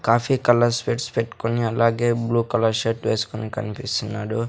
Coffee colour specs పెట్టుకుని అలాగే blue colour shirt వేసుకొని కనిపిస్తున్నాడు.